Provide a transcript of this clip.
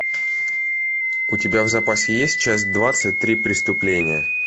у тебя в запасе есть часть двадцать три преступления